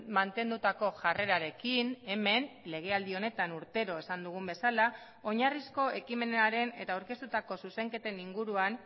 mantendutako jarrerarekin hemen legealdi honetan urtero esan dugun bezala oinarrizko ekimenaren eta aurkeztutako zuzenketen inguruan